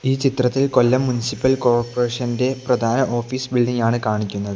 ഈ ചിത്രത്തിൽ കൊല്ലം മുൻസിപ്പൽ കോർപ്പറേഷന്റെ പ്രധാന ഓഫീസ് ബിൽഡിംഗ് ആണ് കാണിക്കുന്നത്.